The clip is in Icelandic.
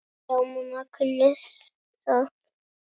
Já, mamma kunni það.